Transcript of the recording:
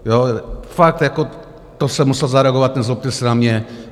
Fakt jako to jsem musel zareagovat, nezlobte se na mě.